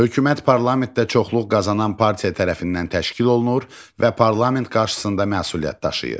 Hökumət parlamentdə çoxluq qazanan partiya tərəfindən təşkil olunur və parlament qarşısında məsuliyyət daşıyır.